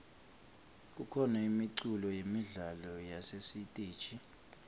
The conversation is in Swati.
kukhona imiculo yemidlalo yasesiteji